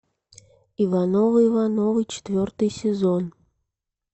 ивановы ивановы четвертый сезон